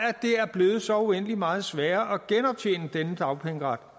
er blevet så uendelig meget sværere at genoptjene denne dagpengeret